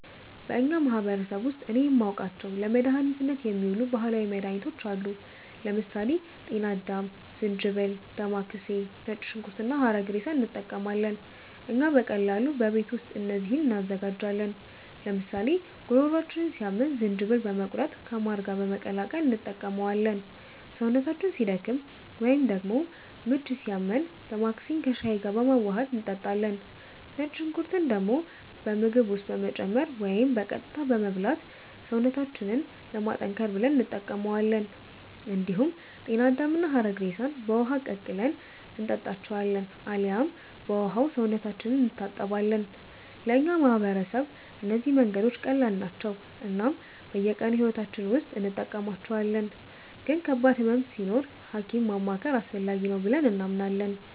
በእኛ ማህበረሰብ ውስጥ እኔ የማውቃቸው ለመድኃኒትነት የሚውሉ ባህላዊ መድኃኒቶች አሉ። ለምሳሌ ጤና አዳም፣ ዝንጅብል፣ ዴማከሴ፣ ነጭ ሽንኩርት እና ሐረግሬሳ እንጠቀማለን። እኛ በቀላሉ በቤት ውስጥ እነዚህን እንዘጋጃለን፤ ለምሳሌ ጉሮሯችንን ሲያመን ዝንጅብልን በመቁረጥ ከማር ጋር በመቀላቀል እንጠቀመዋለን። ሰውነታችን ሲደክም ወይንም ደግሞ ምች ሲያመን ዴማከሴን ከሻይ ጋር በማዋሀድ እንጠጣለን። ነጭ ሽንኩርትን ደግሞ በምግብ ውስጥ በመጨመር ወይም በቀጥታ በመብላት ሰውነታችንን ለማጠንከር ብለን እንጠቀማዋለን። እንዲሁም ጤና አዳምና ሐረግሬሳን በውሃ ቀቅለን እንጠጣቸዋለን አልያም በውሃው ሰውነታችንን እንታጠባለን። ለእኛ ማህበረሰብ እነዚህ መንገዶች ቀላል ናቸው እናም በየቀኑ ሕይወታችን ውስጥ እንጠቀማቸዋለን፤ ግን ከባድ ህመም ሲኖር ሀኪም ማማከር አስፈላጊ ነው ብለንም እናምናለን።